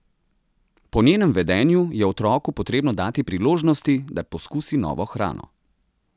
Po njenem vedenju je otroku potrebno dati priložnosti, da poskusi novo hrano.